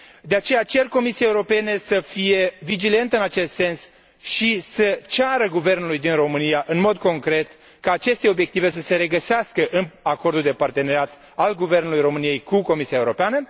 De aceea, cer Comisiei Europene să fie vigilentă în acest sens și să ceară guvernului din România, în mod concret, ca aceste obiective să se regăsească în acordul de parteneriat al Guvernului României cu Comisia Europeană.